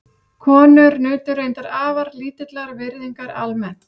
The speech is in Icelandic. Konur nutu reyndar afar lítillar virðingar almennt.